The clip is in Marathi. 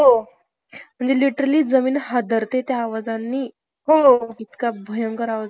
मी तेच तर. आणि ह्याचा सर्वांचा त्रास आपल्याला पण होतो, प्राणी, पक्षांना पण होतो,